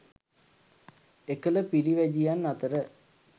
එකල පිරිවැජියන් අතර